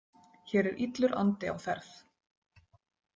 Hér er illur andi á ferð.